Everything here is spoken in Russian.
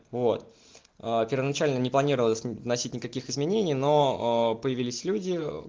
вот а первоначально не планировалось вносить никаких изменений но появились люди